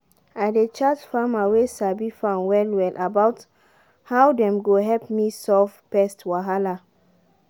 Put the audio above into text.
i dey chat farmer way sabi farm well well about how dem go help me solve pest wahala